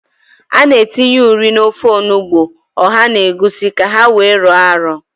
A na-etinye ụrị n'ofe onugbo, ọha na egwusi ka ha wee rọọ arọ.